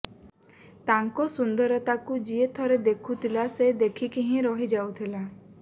ତାଙ୍କ ସୁନ୍ଦରତାକୁ ଯିଏ ଥରେ ଦେଖୁଥିଲା ସେ ଦେଖିକି ହିଁ ରହିଯାଉଥିଲା